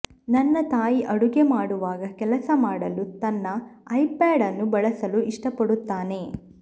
ನನ್ನ ತಾಯಿ ಅಡುಗೆ ಮಾಡುವಾಗ ಕೆಲಸ ಮಾಡಲು ತನ್ನ ಐಪ್ಯಾಡ್ ಅನ್ನು ಬಳಸಲು ಇಷ್ಟಪಡುತ್ತಾನೆ